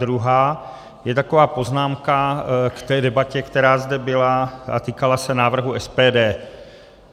Druhá je taková poznámka k té debatě, která zde byla a týkala se návrhu SPD.